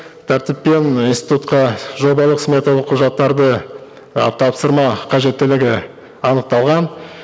тәртіппен институтқа жобалық сметалық құжаттарды і тапсырма қажеттілігі анықталған